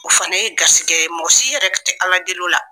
O fana ye gasikɛ ye, mɔgɔsi yɛrɛ tɛ ala deli o la.